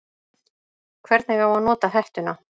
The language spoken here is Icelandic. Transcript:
Hvernig á að nota hettuna?